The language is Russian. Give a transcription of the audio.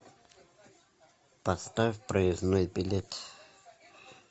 поставь проездной билет